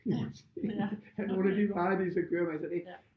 Må man sige af nogle af de varer de så kører med så det